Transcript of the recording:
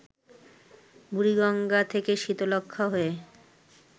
বুড়িগঙ্গা থেকে শীতলক্ষ্যা হয়ে